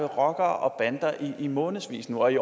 rockere og bander i månedsvis og i